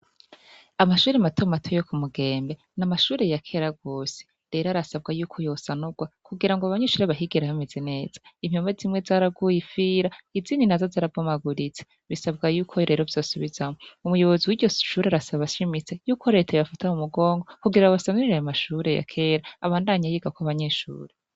Amashure matomato yo kumugembe namashure ya kera gose rero arasabwa ko yosanurwa kugirango abanyeshure bahige hameze neza impome zimwe zaraguye ifira izindi nazo zarabomaguritse bisabwa yuko zimwe zo bisubizwamwo umuyobozi wiryoshure arasaba ashimitse yuko reta yobafata kumugongo kugira ngo basanurire ayo mashure ya kera abandanye yigako abo banyeshure